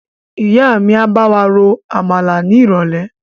Ìyá mi máa bawa ro Àmàlà ni irọ̀lẹ́.